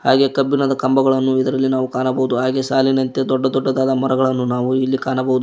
ಹಾಗೆ ಕಬ್ಬಿಣದ ಕಂಬಗಳನ್ನು ಇದರಲ್ಲಿ ನಾವು ಕಾಣಬಹುದು ಹಾಗೆ ಸಾಲಿನಂತೆ ದೊಡ್ಡ ದೊಡ್ಡ ಮರಗಳನ್ನು ನಾವು ಇಲ್ಲಿ ಕಾಣಬಹುದು.